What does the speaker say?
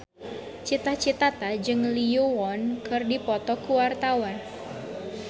Cita Citata jeung Lee Yo Won keur dipoto ku wartawan